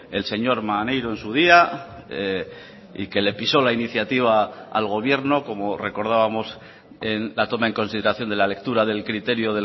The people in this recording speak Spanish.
el señor maneiro en su día y que le pisó la iniciativa al gobierno como recordábamos en la toma en consideración de la lectura del criterio